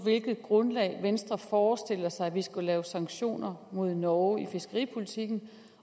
hvilket grundlag venstre forestiller sig at vi skulle lave sanktioner mod norge i fiskeripolitikken